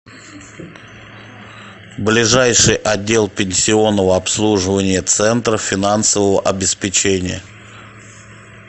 ближайший отдел пенсионного обслуживания центра финансового обеспечения